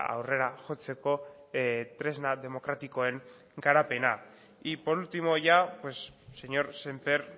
aurrera jotzeko tresna demokratikoen garapena y por último ya señor sémper